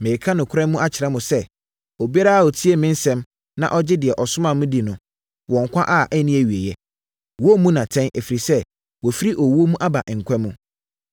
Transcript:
“Mereka nokorɛ akyerɛ mo sɛ: Obiara a ɔtie me nsɛm na ɔgye deɛ ɔsomaa me no di no, wɔ nkwa a ɛnni awieeɛ. Wɔremmu no atɛn, ɛfiri sɛ, wafiri owuo mu aba nkwa mu.